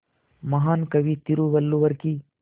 महान कवि तिरुवल्लुवर की